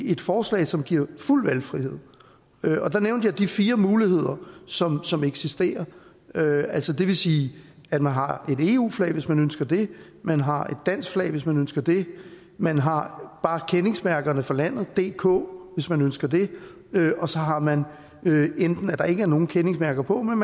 et forslag som giver fuld valgfrihed der nævnte jeg de fire muligheder som som eksisterer altså det vil sige at man har et eu flag hvis man ønsker det man har et dansk flag hvis man ønsker det man har bare kendingsmærket for landet dk hvis man ønsker det og så har man at der ikke er nogen kendingsmærker på men